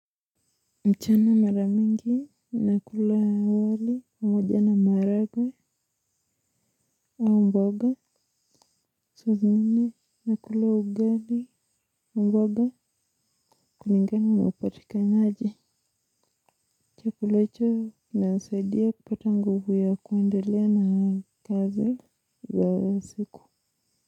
Mchana maramingi, nakula wali, moja ama maragwe, au mboga, suz nini, nakula ugali, mboga, kulingana na upatika naji. Chakulaicho, nasaidia kupata nguvu ya kuendelea na kazi za siku.